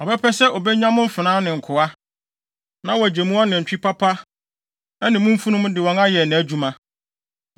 Ɔbɛpɛ sɛ obenya mo mfenaa ne nkoa, na wagye mo anantwi papa ne mo mfurum de wɔn ayɛ nʼadwuma.